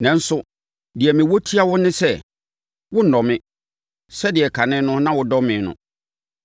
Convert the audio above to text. Nanso, deɛ mewɔ tia wo ne sɛ, wonnɔ me, sɛdeɛ kan no na wodɔ me no.